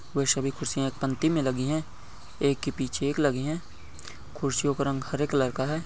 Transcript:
वे सभी कुर्सीया पंक्ती मे लगी है एक के पीछे एक लगी है कुर्सीयो का रंग हरे कलर का है।